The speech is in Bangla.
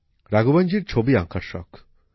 রাঘওয়নজীর ছবি আঁকার শখ